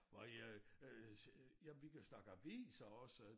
Var jeg øh ja vi kan snakke aviser også